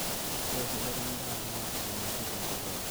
ore erripoto endaa naa enyamali tenkop pookin